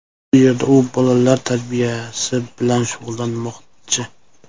Bu yerda u bolalar tarbiyasi bilan shug‘ullanmoqchi.